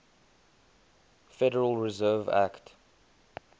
federal reserve act